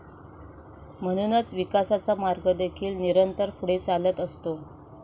म्हणूनच विकासाचा मार्ग देखील निरंतर पुढे चालत असतो.